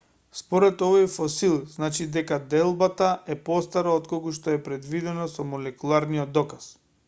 според овој фосил значи дека делбата е постара отколку што е предвидено со молекуларниот доказ